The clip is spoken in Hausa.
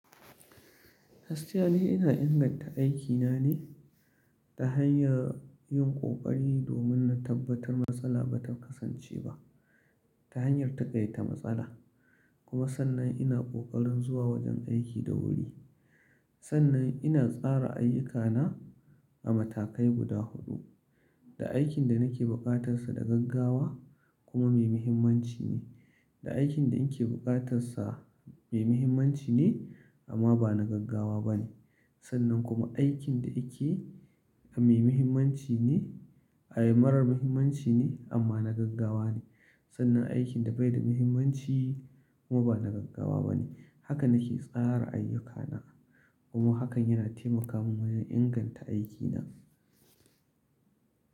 Gaskiya ni ina inganta aikina ne ta hanyar yin kokari domin na tabbatar matsala ba ta kasance ba ta hanyar taƙaita matsala, kuma sannan ina kokarin zuwa wajen aiki da wuri. Sannan ina tsara ayyukana a matakai guda huɗu, da aikin da nake buƙatar sa da gaggawa kuma mai muhimmanci ne, da aikin da na ke buƙatar sa mai muhimmanci ne amma ba na gaggawa ba ne. Sannan kuma aikin da yake a mai muhimmanci ne a ai marar muhimmanci ne amma na gaggawa ne. Sannan aikin da bai da muhimmanci kuma ba na gaggawa ba ne. Haka nake tsara ayyukana kuma hakan yana taimaka mun wajen inganta aikina.